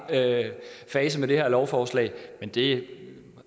fase med det her lovforslag men det